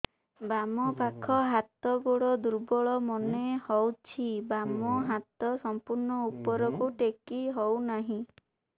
ବାମ ପାଖ ହାତ ଗୋଡ ଦୁର୍ବଳ ମନେ ହଉଛି ବାମ ହାତ ସମ୍ପୂର୍ଣ ଉପରକୁ ଟେକି ହଉ ନାହିଁ